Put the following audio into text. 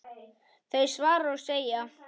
þau svara og segja